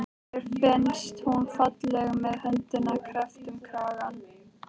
Mér finnst hún falleg með höndina kreppta um kranann.